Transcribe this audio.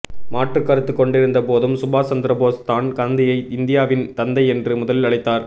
மாற்றுக் கருத்து கொண்டிருந்தபோதும் சுபாஷ் சந்திரபோஸ் தான் காந்தியை இந்தியாவின் தந்தை என்று முதலில் அழைத்தார்